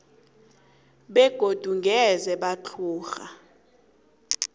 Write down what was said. begodu ngeze batlhoga